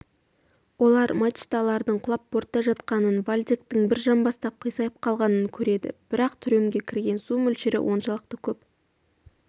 олар мачталардың құлап бортта жатқанын вальдектің бір жамбастап қисайып қалғанын көреді бірақ трюмге кірген су мөлшері оншалықты көп